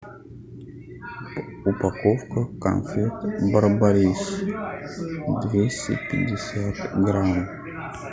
упаковка конфет барбарис двести пятьдесят грамм